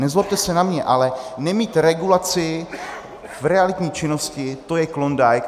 Nezlobte se na mě, ale nemít regulaci v realitní činnosti, to je klondike.